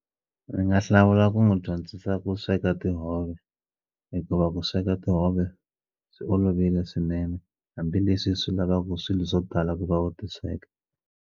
Ndzi nga hlawula ku n'wi dyondzisa ku sweka tihove hikuva ku sweka tihove byi olovile swinene hambileswi swi lavaku swilu swo tala ku va u ti sweka.